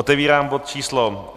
Otevírám bod číslo